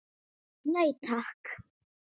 Nei takk.